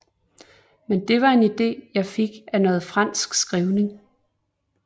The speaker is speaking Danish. Men det var en ide jeg fik af noget fransk skrivning